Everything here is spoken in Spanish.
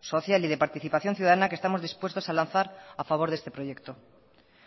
social y de participación ciudadana que estamos dispuestos a lanzar a favor de este proyecto